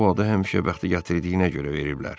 Ona bu adı həmişə bəxti gətirdiyinə görə veriblər.